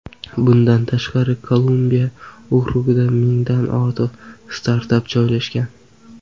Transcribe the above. Bundan tashqari, Kolumbiya okrugida mingdan ortiq startap joylashgan.